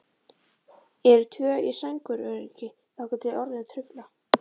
Eru tvö í sænguröryggi þangað til orðin trufla.